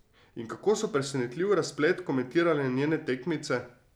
In kako so presenetljiv razplet komentirale njene tekmice?